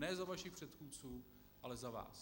Ne za vašich předchůdců, ale za vás.